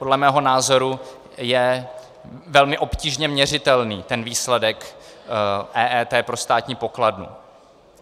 Podle mého názoru je velmi obtížně měřitelný ten výsledek EET pro státní pokladnu.